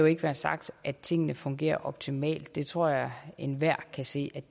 ikke være sagt at tingene fungerer optimalt det tror jeg enhver kan se at